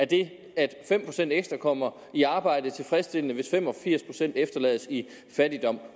det at fem procent ekstra kommer i arbejde er tilfredsstillende hvis fem og firs procent efterlades i fattigdom